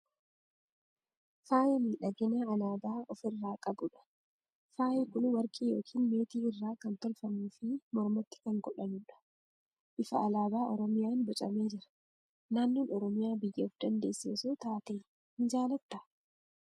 Faaya miidhaginaa alaabaa of irraa qabudha. Faayi kun warqii yookiin meetii irraa kan tolfamuu fi mormatti kan godhamudha. Bifa alaabaa Oromiyaan bocamee jira. Naannoon Oromiyaa biyya of dandeesse osoo taatee ni jaalattaa?